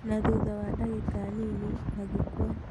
Na thutha wa ndagĩka nini agĩkua.